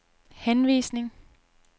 henvisning